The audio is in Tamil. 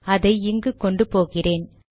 அதை இங்கு கொண்டு போகிறேன்